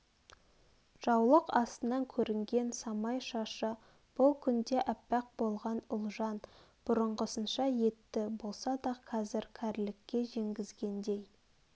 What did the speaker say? жаулық астынан көрінген самай шашы бұл күнде аппақ болған ұлжан бұрынғысынша етті болса да қазір кәрлікке жеңгізгендей